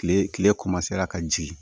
Kile kile ka jigin